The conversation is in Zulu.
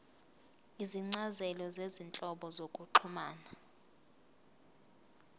izincazelo zezinhlobo zokuxhumana